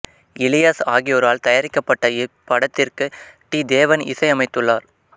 இலியாஸ் ஆகியோரால் தயாரிக்கப்பட்ட இப்படத்ததிற்கு டி தேவன் இசை அமைத்துளார்